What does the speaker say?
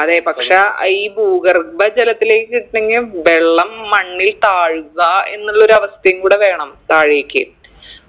അതെ പക്ഷാ ഈ ഭൂഗർഭ ജലത്തിലേക്ക് കിട്ടണെങ്കി വെള്ളം മണ്ണിൽ താഴുക എന്നുള്ളൊരു അവസ്ഥയും കൂട വേണം താഴേക്ക്